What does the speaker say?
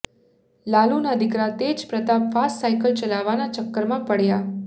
લાલુનાં દીકરા Tej Pratap fast cycle ચલાવવાનાં ચક્કરમાં પડ્યા